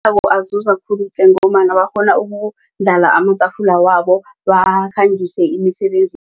Awa, azuza khulu ngombana bakghona ukundlala amatafula wabo bakhangise